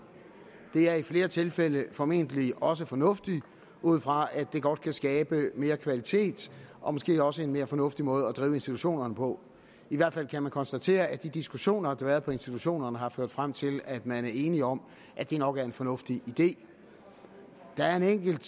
det er i flere tilfælde formentlig også fornuftigt ud fra at det godt kan skabe mere kvalitet og måske også en mere fornuftig måde at drive institutionerne på i hvert fald kan man konstatere at de diskussioner der har været på institutionerne har ført frem til at man er enige om at det nok er en fornuftig idé der er en enkelt